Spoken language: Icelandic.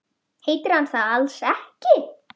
Heitir hann það alls ekki?